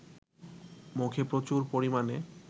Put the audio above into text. মুখে প্রচুর পরিমানে